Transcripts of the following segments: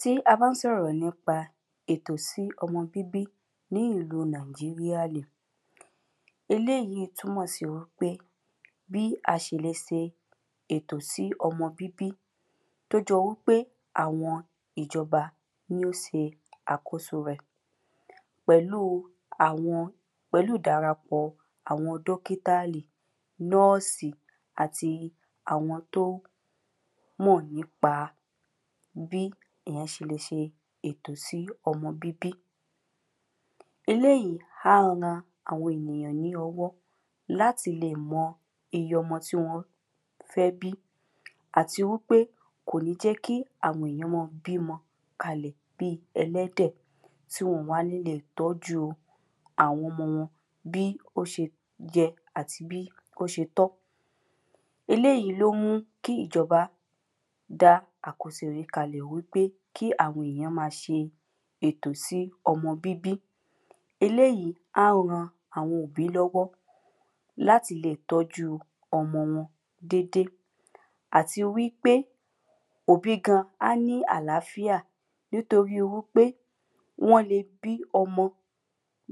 tí a bá ń sọ̀rọ̀ nípa ètò sí ọmọ bíbí ní ìlú nàìjíríà eléyìí túnmọ̀ sí wí pé bí a ṣe le ṣe ètò sí ọmọ bíbí tọ́ jọ wí pé àwọn ìjọba ní ó se àkóso rẹ̀ pẹ̀lú àwọn pẹ̀lú ìdarapọ̀ àwọn dọ́kítárì nọ́ọ̀sì àti àwọn tó mọ̀ nípa bí èyàn ṣe le ṣe ètò sí ọmọ bíbí eléyi à ran àwọn ènìyàn ní ọwọ́ láti lè mọ eye ọmọ ti wọ́n fẹ́ bí àti wí pé kò ní jẹ́ kí àwọn èyàn mọ bímọ kalẹ̀ bi ẹlẹ́dẹ̀ tí wọn ò wá ní lèe tọ́ju àwọn ọmọ wọn bí ó ṣe yẹ àti bí ó ṣe tọ́ eléyi ló mú kí ìjọba dá àkóso yí kalẹ̀ wí pé kí àwọn èyàn ma ṣe ètò sí ọmọ bíbí eléyi à ran àwọn òbí lọ́wọ́ láti lè tọ́jú ọmọ wọn dédé àti wí pé òbí gan á ní àláfíà nítorí wí pé wọ́n le bí ọmọ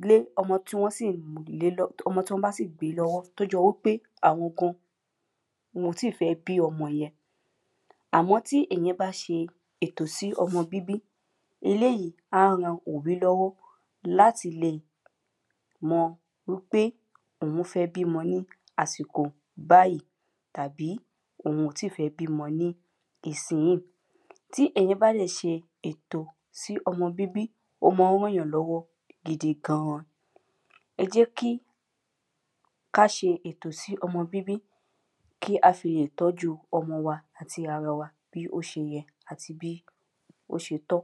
lé ọmọ ọmọ tí wọ́n bá sì gbé lọ́wọ́ tó jọ wípé àwọn gan wọn ò tíì fẹ́ bí ọmọ yẹn àmọ́ tí èyàn bá ṣe ètò sí ọmọ bíbí eléyi à ran òbí lọ́wọ́ láti lè mọ̀ wí pé òun fẹ́ bímọ ni àsìkò báyìí tàbí òun ò tíì fẹ́ bímọ ni ìsinyíì tí èyàn bá dẹ̀ ṣe ètò sí ọmọ bíbí ó mọ ràn yàn lọ́wọ́ gidi gan-an ẹ jẹ́ kí ká ṣe ètò sí ọmọ bíbí kí a fi lè tọ́ju ọmọ wa àti ara wa bí ó ṣe yẹ àti bí ó ṣe tọ́